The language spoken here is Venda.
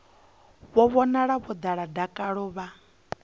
vhonala vho ḓala dakalo vha